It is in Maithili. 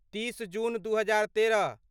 तीस जून दू हजार तेरह